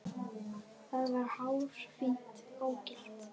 Það var hárfínt ógilt.